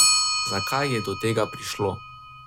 Zakaj je do tega prišlo?